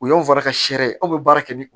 O y'anw fara ka seri ye aw bɛ baara kɛ ni